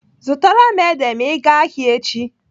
Zụtara m ede ma ị gaa ahịa echi.